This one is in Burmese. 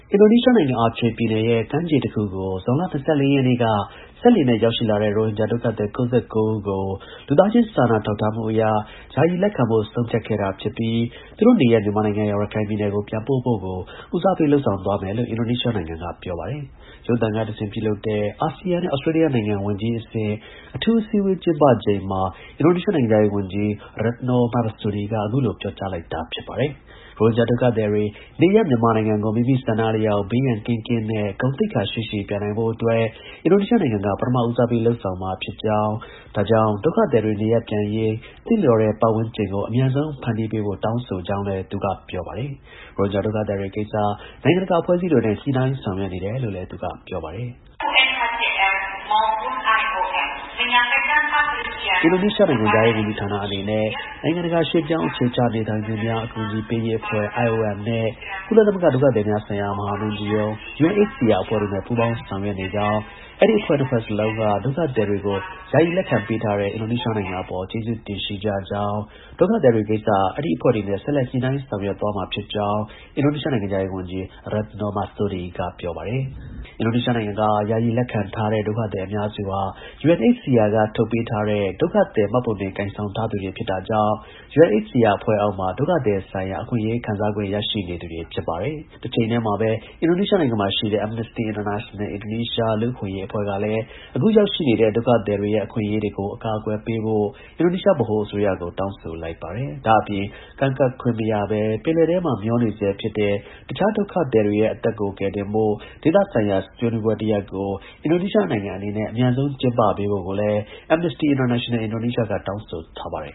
အင်ဒိုနီးရှားနိုင်ငံ၊ Aceh ပြည်နယ် ကမ်းခြေတစ်ခုကို ဇွန်လ ၂၄ ရက်နေ့က စက်လှေနဲ့ ရောက်ရှိလာတဲ့ ရိုဟင်ဂျာ ဒုက္ခသည် ၉၉ ဦးကို လူသားချင်း စာနာ ထောက်ထားမှုအရ ယာယီ လက်ခံဖို့ ဆုံးဖြတ်ခဲ့တာဖြစ်ပြီး သူတို့ရဲ့ နေရပ် မြန်မာနိုင်ငံ၊ ရခိုင်ပြည်နယ်ကို ပြန်ပို့ဖို့ကို ဦးစားပေး လုပ်ဆောင်သွားမယ်လို့ အင်ဒိုနီးရှားနိုင်ငံက ပြောပါတယ်။ ရုပ်သံက တဆင့် ပြုလုပ်တဲ့ အာဆီယံနဲ့ ဩစတြေးလျနိုင်ငံ ဝန်ကြီးအဆင့် အထူး အစည်းအဝေးကျင်းပချိန်မှာ အင်ဒိုနီးရှားနိုင်ငံခြား ရေး ဝန်ကြီး Retno Marsudi အခုလို ပြောကြားလိုက်တာ ဖြစ်ပါတယ်။ ရိုဟင်ဂျာ ဒုက္ခသည်တွေ နေရပ် မြန်မာနိုင်ငံကို မိမိ ဆန္ဒ အလျောက်ဘေးရန်ကင်းကင်းနဲ့ ဂုဏ်သိက္ခာ ရှိရှိ ပြန်နိုင်ဖို့အတွက် အင်ဒိုနီးရှားနိုင်ငံက ပထမဦးစားပေး လုပ်ဆောင်မှာ ဖြစ်ကြောင်း၊ ဒါကြောင့် ဒုက္ခသည်တွေ နေရပ်ပြန်နိုင်ရေး သင့်လျော်တဲ့ ပတ်ဝန်းကျင်ကို အမြန်ဆုံး ဖန်တီးပေးဖို့ တောင်းဆိုကြောင်းလည်း သူက ပြောပါတယ်။ ရိုဟင်ဂျာဒုက္ခသည်တွေကိစ္စ နိုင်ငံတကာ အဖွဲ့အစည်းတွေနဲ့ ညှိနှိုင်းဆောင်ရွက်နေတယ်လို့လည်း သူက ပြောပါတယ်။ “အင်ဒိုနီးရှားနိုင်ငံခြားရေးဝန်ကြီးဌာန အနေနဲ့ နိုင်ငံ တကာ ရွှေ့ပြောင်းသူအခြေချနေထိုင်သူများ အကူအညီပေးရေးအဖွဲ့ (IOM) နဲ့ကုလ သမဂ္ဂ ဒုက္ခသည်များဆိုင်ရာ မဟာမင်းကြီးရုံး UNHCR အဖွဲ့ တို့နဲ့ ညှိနှိုင်းဆောင်ရွက်နေကြောင်း၊ အဲဒီ နှစ်ဖွဲ့စလုံးကဒုက္ခသည် တွေကို ယာယီ လက်ခံပေးတဲ့ အင်ဒိုနီးရှား နိုင်ငံ အပေါ် ကျေးဇူးတင်ရှိကြကြောင်း၊ ဒုက္ခသည်တွေ ကိစ္စ အဲဒီ အဖွဲ့တွေနဲ့ ဆက်လက် ညှိနှိုင်းဆောင်ရွက်သွားမှာ ဖြစ်ကြောင်း အင်ဒိုနီးရှားနိုင်ငံခြား ရေး ဝန်ကြီး Retno Marsudi က ပြောပါတယ်။ အင်ဒိုနီရှားနိုင်ငံက ယာယီ လက်ခံထားတဲ့ ဒုက္ခသည် အများစုဟာ UNHCR ထုတ်ပေးထားတဲ့ ဒုက္ခသည် မှတ်ပုံတင်ကိုင်ဆောင်ထား သူတွေ ဖြစ်တာကြောင့် UNHCR အဖွဲ့အောက်မှာ ဒုက္ခသည်ဆိုင်ရာ အခွင့်အရေးခံစားခွင့် ရှိနေသူတွေ ဖြစ်ပါတယ်။ တစ်ချိန်တည်းမှာပဲ အင်ဒိုနီးရှားနိုင်ငံက Amnesty International Indonesia လူ့အခွင့်အရေး လှုပ်ရှားမှုအဖွဲ့ ကလည်း အခုရောက်ရှိနေတဲ့ ဒုက္ခသည်တွေရဲ့ အခွင်အရေးတွေကို အကာအကွယ်ပေးဖို့ အင်ဒိုနီးရှား ဗဟို အစိုးရကို တောင်းဆိုလိုက်ပါတယ်။ ဒါ့အပြင် ကမ်းကပ်ခွင့်မရဘဲ ပင်လယ်ထဲမှာ မျောနေဆဲ ဖြစ်တဲ့ တခြား ဒုက္ခသည်တွေရဲ့ အသက်ကို ကယ်တင်ဖို့ ဒေသဆိုင်ရာ ဆွေးနွေးပွဲတစ်ရပ်ကို အင်ဒိုနီးရှားနိုင်ငံအနေနဲ့ အမြန်ဆုံး ကျင်းပပေးဖို့ကိုလည်း Amnesty International Indonesia ကတောင်းဆိုထားပါတယ်